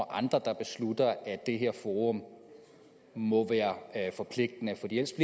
andre der beslutter at det her forum må være forpligtende fordi ellers